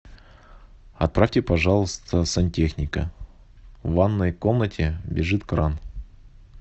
отправьте пожалуйста сантехника в ванной комнате бежит кран